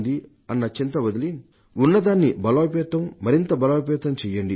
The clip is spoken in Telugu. అన్న చింత వదిలి ఉన్నదాన్ని బలోపేతం మరింత బలోపేతం చెయ్యండి